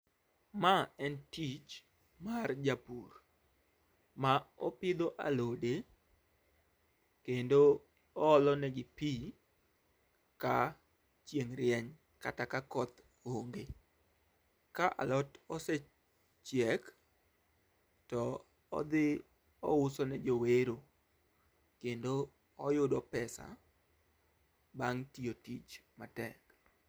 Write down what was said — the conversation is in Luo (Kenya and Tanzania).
Ma en tich mar japur, ma opidho alode kendo oolo ne gi pii ka chieng' rieny kata ka koth onge. Ka alot osechiek to odhi ouso ne jowero kendo oyudo pesa bang' tiyo tich matek.